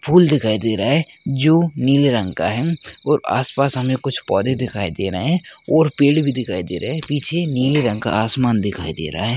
फूल दिखाई दे रहा है नीले रंग का है और आस पास हमे पौधे दिखाई दे रहे है और पेड़ भी दिखाई दे रहा है पीछे नीले रंग का आसमान दिखाई दे रहा है।